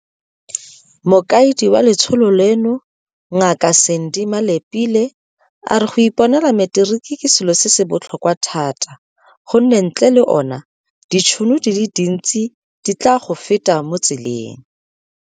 Mokaedi wa letsholo leno, Ngaka Sandy Malapile, a re go iponela materiki ke selo se se botlhokwa thata gonne ntle le ona, ditšhono di le dintsi di tla go feta mo tseleng.